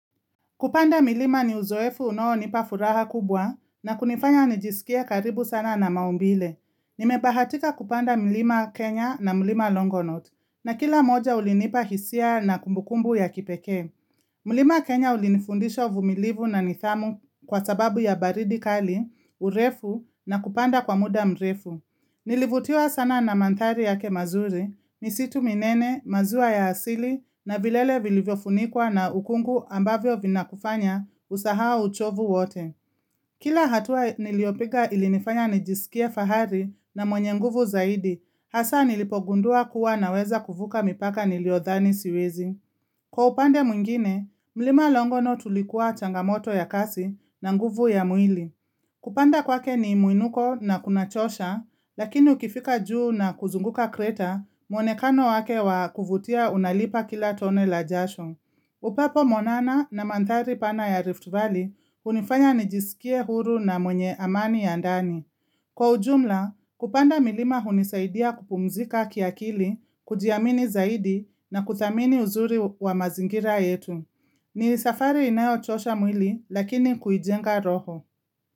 Kupanda milima ni uzoefu unaonipa furaha kubwa na kunifanya nijisikie karibu sana na maumbile. Nimebahatika kupanda mlima Kenya na mlima Longonot na kila moja ulinipa hisia na kumbukumbu ya kipeke. Mlima Kenya ulinifundisha uvumilivu na nidhamu kwa sababu ya baridi kali, urefu na kupanda kwa muda mrefu. Nilivutiwa sana na mandhari yake mazuri, misitu minene maziwa ya asili na vilele vilivyofunikwa na ukungu ambavyo vina kufanya usahau uchovu wote. Kila hatua niliopiga ilinifanya nijisikie fahari na mwenye nguvu zaidi, hasa nilipogundua kuwa naweza kuvuka mipaka niliodhani siwezi. Kwa upande mwingine, mlima longonot ulikuwa changamoto ya kasi na nguvu ya mwili. Kupanda kwake ni muinuko na kunachosha, lakini ukifika juu na kuzunguka kreta, mwonekano wake wa kuvutia unalipa kila tone la jasho. Upepo mwanana na mandhari pana ya Rift Valley, hunifanya nijisikie huru na mwenye amani ya ndani. Kwa ujumla, kupanda milima hunisaidia kupumzika kiakili, kujiamini zaidi na kuthamini uzuri wa mazingira yetu. Ni safari inayo chosha mwili, lakini kuijenga roho.